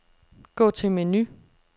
Gå til menu.